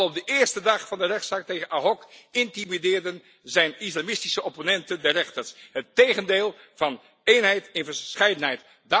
Al op de eerste dag van de rechtszaak tegen Ahok intimideerden zijn islamitische opponenten de rechters, het tegendeel van eenheid in verscheidenheid!